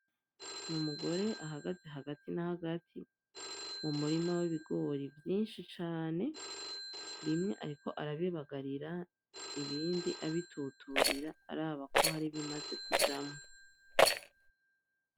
N'umugore ahagaze hagati n'ahagati mu murima w'ibigori vyinshi cane bimwe ariko arabibagararira ibindi abituturira araba ko hari ibimaze kujamwo.